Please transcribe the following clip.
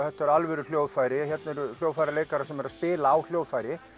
þetta eru alvöru hljóðfæri hérna eru hljóðfæraleikarar sem eru að spila á hljóðfæri